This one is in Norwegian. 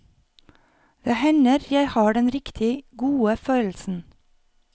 Det hender jeg har den riktig gode følelsen.